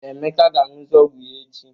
Emeka ga-aṅụzu ọgwụ ya echi.